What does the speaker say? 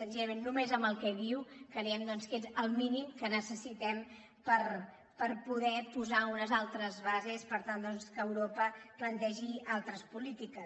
senzillament només amb el que diu creiem que és el mínim que necessitem per poder posar unes altres bases per tant doncs que europa plantegi altres polítiques